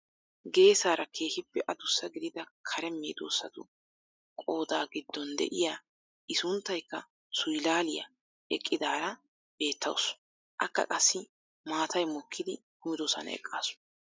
Geesaara keehippe adussa gidida kare meedosatu qoodaa giddon de'iyaa i sunttaykka suyilaaliyaa eqqidaara beettawus. Akka qassi maatay mokkidi kumidosan eqqaasu.